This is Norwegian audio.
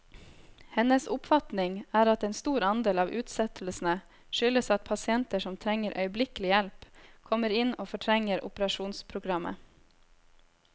Hennes oppfatning er at en stor andel av utsettelsene skyldes at pasienter som trenger øyeblikkelig hjelp, kommer inn og fortrenger operasjonsprogrammet.